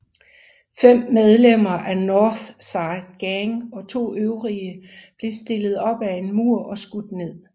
Fem medlemmer af North Side Gang og to øvrige blev stillet op ad en mur og skudt ned